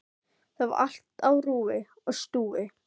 Hann endurtekur hótunina og vonast eftir viðbrögðum.